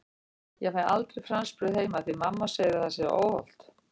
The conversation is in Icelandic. Ég fæ aldrei franskbrauð heima því mamma segir að það sé svo óhollt!